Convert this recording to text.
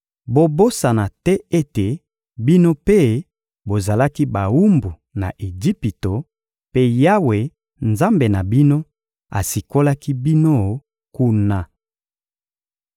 Bobosana te ete bino mpe bozalaki bawumbu na Ejipito; mpe Yawe, Nzambe na bino, asikolaki bino kuna.